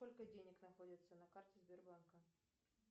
сколько денег находится на карте сбербанка